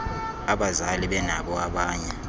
abazali benabo abanye